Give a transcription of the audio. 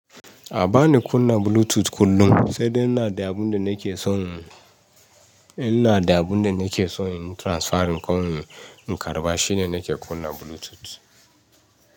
Bana kunna Bluetooth kullum sai dai in ina da abun da nake so in yi transfering ko in karba shine nake kunna Bluetooth.